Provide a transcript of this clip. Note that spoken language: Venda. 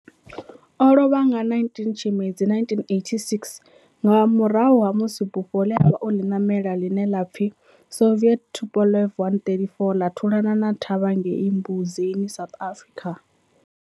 O lovha nga 19 Tshimedzi 1986 nga murahu ha musi bufho le a vha o li namela, line la pfi Soviet Tupolev 134 la thulana na thavha ngei Mbuzini, South Africa.